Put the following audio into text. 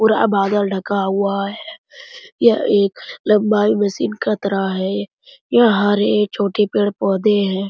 पूरा बादल ढका हुआ है यह एक लम्बाई मशीन के तरह है यह हरे छोटे पेड़-पौधे हैं --